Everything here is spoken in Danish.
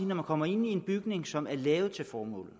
når man kommer ind i en bygning som er lavet til formålet